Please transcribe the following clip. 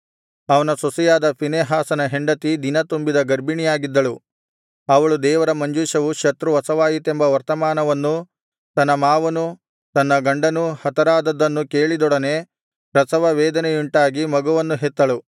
ಅವನ ಸೊಸೆಯಾದ ಫೀನೆಹಾಸನ ಹೆಂಡತಿ ದಿನತುಂಬಿದ ಗರ್ಭಿಣಿಯಾಗಿದ್ದಳು ಅವಳು ದೇವರ ಮಂಜೂಷವು ಶತ್ರು ವಶವಾಯಿತೆಂಬ ವರ್ತಮಾನವನ್ನೂ ತನ್ನ ಮಾವನೂ ತನ್ನ ಗಂಡನೂ ಹತರಾದದ್ದನ್ನೂ ಕೇಳಿದೊಡನೆ ಪ್ರಸವವೇದನೆಯುಂಟಾಗಿ ಮಗುವನ್ನು ಹೆತ್ತಳು